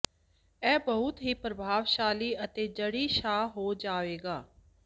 ਇਹ ਬਹੁਤ ਹੀ ਪ੍ਰਭਾਵਸ਼ਾਲੀ ਅਤੇ ਜੜੀ ਸਾਹ ਹੋ ਜਾਵੇਗਾ